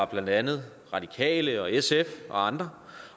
blandt andet radikale sf og andre